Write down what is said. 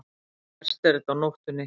Verst er þetta á nóttunni.